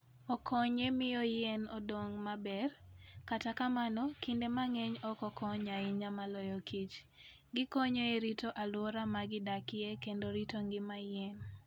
Okonyo e miyo yien odong maber, kata kamano kinde mang'eny ok okony ahinya maloyo kich. Gikonyo e rito alwora ma gidakie kendo rito ngima yien.